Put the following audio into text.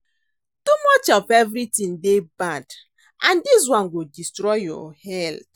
Too much of everything dey bad and dis one go destroy your health